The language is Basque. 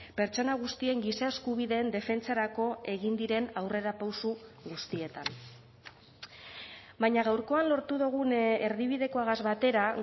pertsona guztien giza eskubideen defentsarako egin diren aurrerapauso guztietan baina gaurkoan lortu dugun erdibidekoagaz batera